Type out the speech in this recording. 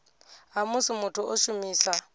ha musi muthu o shumisa